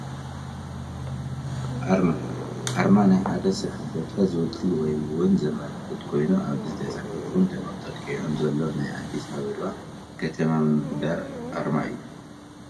ኣርማ፡- ኣርማ ናይ ሓደ ስራሕ ቦታ ዝውክል ወይ ውን ዘመላኽት ኮይኑ ኣብዚ ተፃሒፉን ተጠቂዑን ዘሎ ናይ ኣዲስ ኣባባ ከተማ ምምሕዳር ኣርማ እዩ፡፡